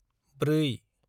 ब्रै